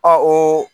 o